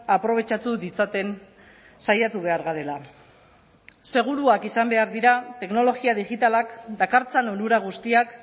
aprobetxatu ditzaten saiatu behar garela seguruak izan behar dira teknologia digitalak dakartzan onura guztiak